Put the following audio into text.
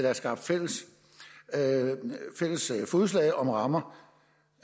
er skabt fælles fodslag om rammer